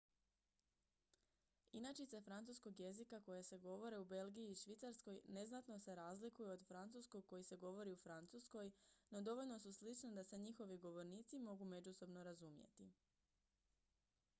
inačice francuskog jezika koje se govore u belgiji i švicarskoj neznatno se razlikuju od francuskog koji se govori u francuskoj no dovoljno su slične da se njihovi govornici mogu međusobno razumjeti